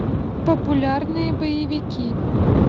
популярные боевики